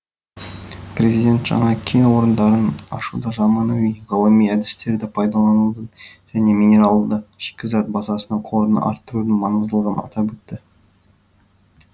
президент жаңа кен орындарын ашуда заманауи ғылыми әдістерді пайдаланудың және минералды шикізат базасының қорын арттырудың маңыздылығын атап өтті